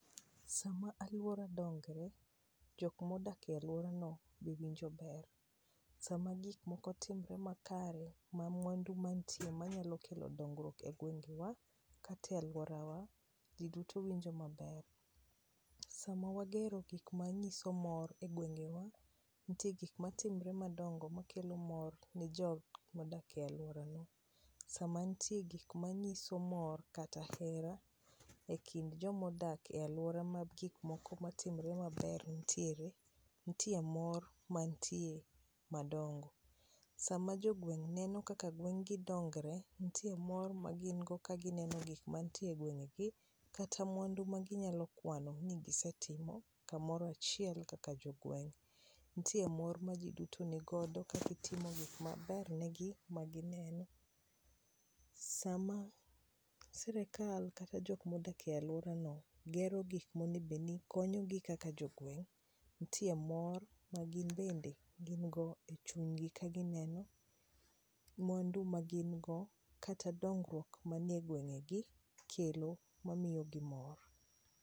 sama aluora dongre ,jok ma odak e aluora no be winjo ber. Sama gik moko timre makare, ma mwandu mantie manyalo kelo dongruok e gwengewa ka e luorawa jii duto winjo maber .Sama wagero gik manyiso mor e gwengewa ntie gik matimre madongo makelo mor ne jok modak e aluorano. Sama ntie gik manyiso mor kata hera ekind jomo dak e aluora ma gik moko matimre maber nitiere mor mantie madongo. Sama jogweng' neno kaka gweng'gi dongre ntie mor ma gin go kanineno gik mantie e gwengegi kata mwandu maginyalo kwano ni ginyalo timo kamoro achiel kaka jogweng'. Ntie moro majiduto nigodo kagitimo gik maber negi magineno sama sirikal kata joma odak e aluora no gero gik monego bed ni konyo gi kaka jogweng' ntie mor ma gin bende gin go e chunygi kagineno mwandu ma gin go kata dongruok mani egwengegi kelo mamiyo gi mor.